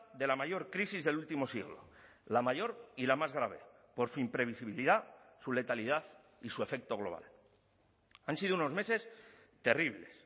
de la mayor crisis del último siglo la mayor y la más grave por su imprevisibilidad su letalidad y su efecto global han sido unos meses terribles